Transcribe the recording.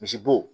Misibo